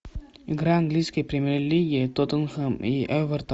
игра английской премьер лиги тоттенхэм и эвертон